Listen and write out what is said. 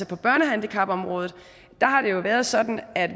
på børnehandicapområdet været sådan at